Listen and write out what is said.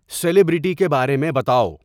celebrity کے بارے میں بتاؤ